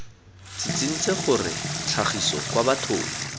tsitsintse gore tlhagiso kwa bathong